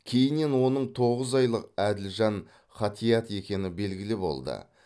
кейіннен оның тоғыз айлық әділжан ғатиат екені белгілі болды